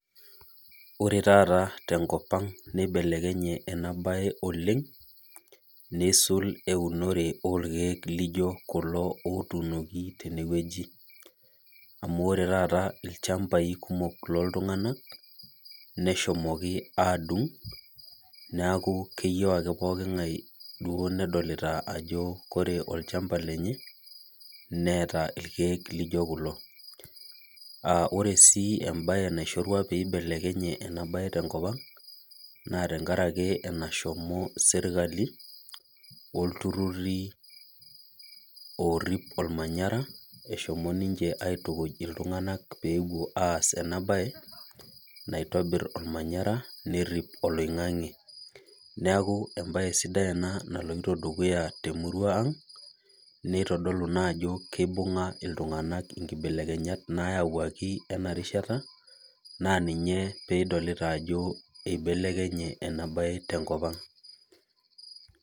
Ore taata tee nkop ang nibelekenye ena oleng nisulaki endung'oto orkeek laijio kulo otunoki tene wueji amu oree taata ilchambai kumok loo iltung'ana neshomoki adung neeku keyieu ake pokingae nedolita Ajo ore olchamba lenye neeta ilkeek laijio kulo oree sii embae naishorua peibelekenya ena tenkop ang naa tenkaraki enahomo sirkali oltururi orip ormanyara ehomo ninche aitukuj iltung'ana pee epuo aas ena mbae naitobir ormanyara nerip oloing'ang'e neeku mbae sidai ena naloito dukuya tee murua ang neitodolu naa Ajo kibunga iltung'ana nkibelekenyata nayawuaki ena rishata naa ena pidolita Ajo eibelekenye ena mbae tenkop ang